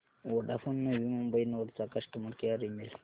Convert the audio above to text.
Vodafone Navi Mumbai node चा customer care email